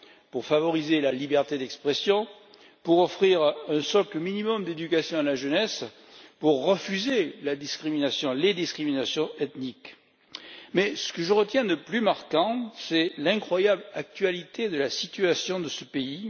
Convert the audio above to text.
pour favoriser la liberté d'expression, pour offrir un socle minimum d'éducation à la jeunesse, pour refuser la discrimination, les discriminations ethniques. Mais ce que je retiens de plus marquant, c'est l'incroyable actualité de la situation de ce pays.